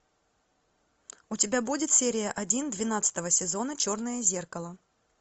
у тебя будет серия один двенадцатого сезона черное зеркало